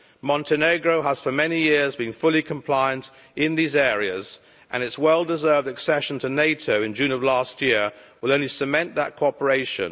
Montenegro has for many years been fully compliant in these areas, and its well deserved accession to NATO in June of last year will only cement that cooperation.